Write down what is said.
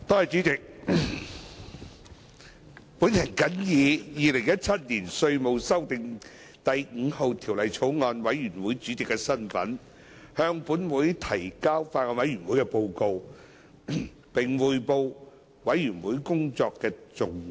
主席，我謹以《2017年稅務條例草案》委員會主席的身份，向本會提交法案委員會的報告，並匯報法案委員會工作的重點。